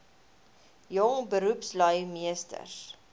jong beroepslui meesters